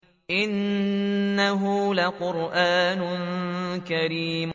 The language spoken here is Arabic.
إِنَّهُ لَقُرْآنٌ كَرِيمٌ